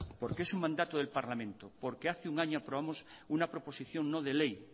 porque es un mandato del parlamento porque hace un año aprobamos una proposición no de ley